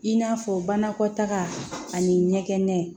I n'a fɔ banakɔtaga ani ɲɛgɛn